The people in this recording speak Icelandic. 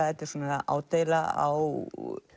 þetta er ádeila á